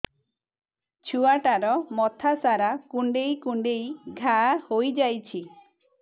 ଛୁଆଟାର ମଥା ସାରା କୁଂଡେଇ କୁଂଡେଇ ଘାଆ ହୋଇ ଯାଇଛି